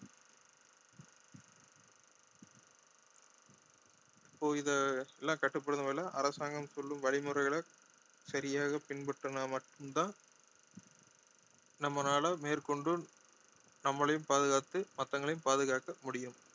இப்போ இதை எல்லாம் கட்டுப்படுத்தும் வகையில அரசாங்கம் சொல்லும் வழி முறைகளை சரியாக பின்பற்றினா மட்டும்தான் நம்மளால மேற்கொண்டு நம்மளையும் பாதுகாத்து மத்தவங்களையும் பாதுகாக்க முடியும்